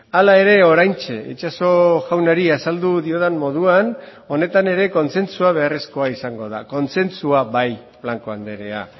hala ere oraintxe itxaso jaunari azaldu diodan moduan honetan ere kontzentzua beharrezkoa izango da kontzentzua bai blanco andrea